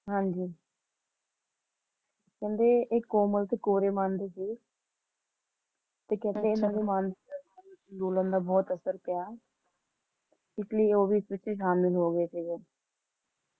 ਹਾਂਜੀ ਕਹਿੰਦੇ ਕਿ ਇਹ ਕੋਮਲ ਤੇ ਕੋਰੇ ਮਨ ਦੇ ਸੀ ਤੇ ਕਹਿੰਦੇ ਇਹਨਾਂ ਦੇ ਮਾਨਸਿਕ ਸੰਤੁਲਨ ਤੇ ਬਹੁਤ ਅਸਰ ਪੇਆ ਇਸ ਲਈ ਉਹ ਇਸ ਪਿੱਛੇ ਹੋਗੇ ਸੀਗੇ